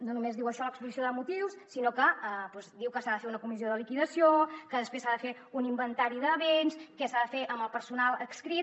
no només diu això a l’exposició de motius sinó que diu que s’ha de fer una comissió de liquidació que després s’ha de fer un inventari de béns què s’ha de fer amb el personal adscrit